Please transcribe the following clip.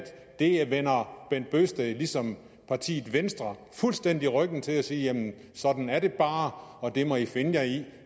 det vender herre bent bøgsted ligesom venstre fuldstændig ryggen til og siger sådan er det bare og det må i finde jer i